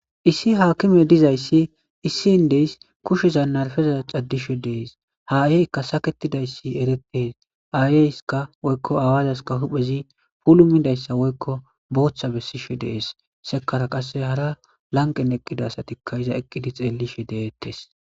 issi haakime dizayssi issin deys kusheza narfeza caddishe dees haayeykka saketidayssi erettes aayeyska woykko aawaazaskka huphezi pulumidayssa woykko booththa bessishe dees sekara qasse hara lanqen eqqida asatikka iza eqqidi xeelishe deettes